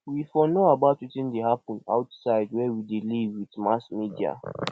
we for know about wetin dey happen outside where we dey live with mass media